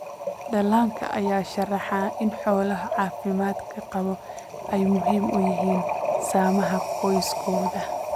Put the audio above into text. Dhallaanka ayaa sharaxa in xoolaha caafimaadka qaba ay muhiim u yihiin samaha qoysaskooda.